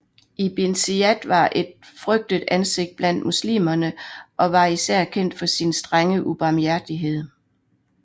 Ibn Ziyad var et frygtet ansigt blandt muslimerne og var især kendt for sin strenge ubarmhjertighed